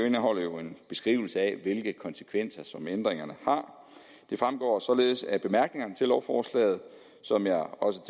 indeholder jo en beskrivelse af hvilke konsekvenser ændringerne har det fremgår således af bemærkningerne til lovforslaget som jeg også